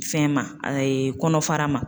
Fɛn ma , a ye kɔnɔfara ma.